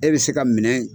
E bɛ se ka minɛ